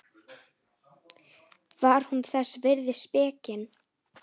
Var hún þess virði spekin?